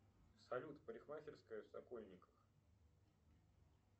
салют парикмахерская в сокольниках